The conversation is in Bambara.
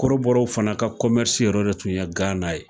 Kɔrɔbɔrɔw fana ka yɔrɔ de tun ye Gana ye